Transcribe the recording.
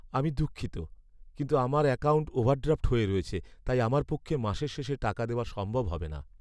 আমি দুঃখিত, কিন্তু আমার অ্যাকাউন্ট ওভারড্রাফ্ট হয়ে রয়েছে, তাই আমার পক্ষে মাসের শেষে টাকা দেওয়া সম্ভব হবে না।